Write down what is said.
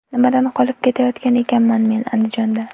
Nimadan qolib ketayotgan ekanman men Andijonda.